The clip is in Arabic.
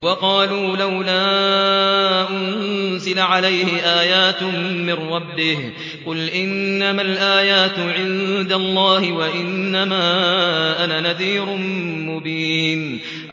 وَقَالُوا لَوْلَا أُنزِلَ عَلَيْهِ آيَاتٌ مِّن رَّبِّهِ ۖ قُلْ إِنَّمَا الْآيَاتُ عِندَ اللَّهِ وَإِنَّمَا أَنَا نَذِيرٌ مُّبِينٌ